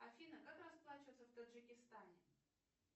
афина как расплачиваться в таджикистане